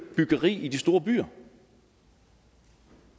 byggeri i de store byer